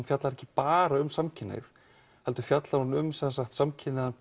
fjallar ekki bara um samkynhneigð heldur fjallar hún um samkynhneigðan